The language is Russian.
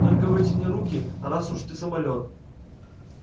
только вытяни руки раз уж ты самолёт